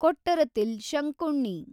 Kottarathil Shankunni